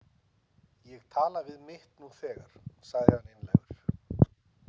Ég tala við mitt nú þegar, sagði hann einlægur.